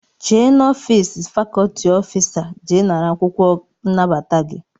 Jee n'ofịịsị fakọlti ọfịsa jee nara akwụkwọ nnabata gị!